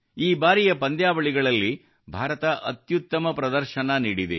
ಈ ಬಾರಿಯ ಪಂದ್ಯಾವಳಿಗಳಲ್ಲಿ ಭಾರತ ಅತ್ಯುತ್ತಮ ಪ್ರದರ್ಶನ ನೀಡಿದೆ